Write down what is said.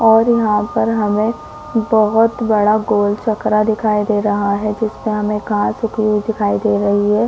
और यहाँ पर हमें बहोत बड़ा गोल चकरा दिखाई दे रहा है जिसपे हमे घास उगी हुई दिखाई दे रही है।